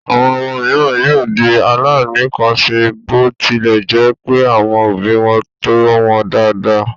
Àwọn ọmọ mìíràn yóò di aláìníkanṣe bó tilẹ̀ jẹ́ pé àwọn òbí wọn tọ́ wọn dáadáa.